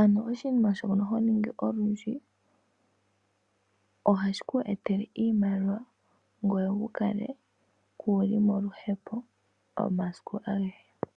Ano oshinima shono ho ningi olundji ohashi ku etele iimaliwa ngoye wukale kuuli moluhepo omasiku agehe.